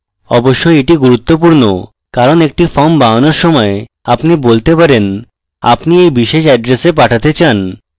অবশ্যই এটি খুব গুরুত্বপূর্ণ কারণ একটি form বানানোর সময় আপনি বলতে পারেন আপনি এই বিশেষ এড্রেসে পাঠাতে চান